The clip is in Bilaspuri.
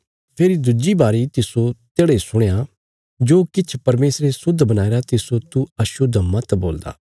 फेरी दुज्जी बारी तिस्सो तेढ़ा इ सुणया जो किछ परमेशरे शुद्ध बणाईरा तिस्सो तू अशुद्ध मत बोलदा